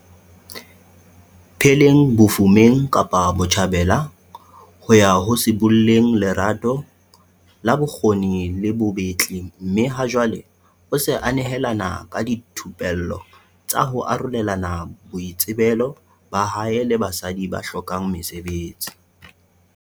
Pheleng bofumeng Kapa Botjhabela, ho ya ho sibolleng lerato la bokgabi le bobetli mme ha jwale o se a nehelana ka dithupello tsa ho arolelana boitsebelo ba hae le basadi ba hlokang mesebetsi.